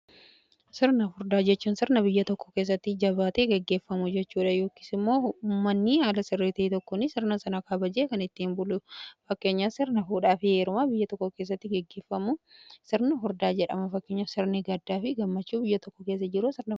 sirna furdaa jechuun sirna biyya tokko keessatti jabaate geggeeffamu jechuudha yookisimoo ummanni ala sirritiii tokkummaan sirna sana kaabajee kan ittiin bulu fakkeenya sirna fuudhaa fi heerumaa biyya tokko keessatti gaggeffamu sirna furdaa jedhama fakkeenya sirni gaddaa fi gammachuu biyya tokko keessa jiru.